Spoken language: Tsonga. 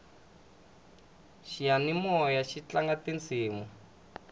xiyanimoyaxi tlanga tisimu